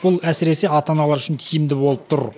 бұл әсіресе ата аналар үшін тиімді болып тұр